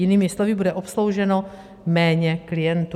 Jinými slovy, bude obslouženo méně klientů.